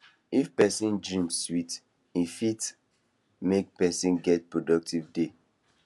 if person dream sweet e fit make person get productive day